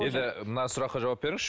енді мына сұраққа жауап беріңізші